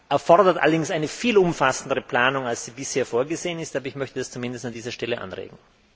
Das erfordert allerdings eine viel umfassendere Planung, als sie bisher vorgesehen ist, aber ich möchte das zumindest an dieser Stelle anregen!